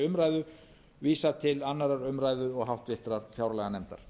umræðu vísað til annarrar umræðu og háttvirtrar fjárlaganefndar